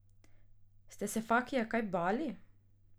Ste se Fakija kaj bali?